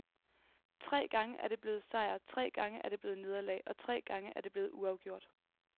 Tre gange er det blevet sejr, tre gange er det blevet nederlag, og tre gange er det blevet uafgjort.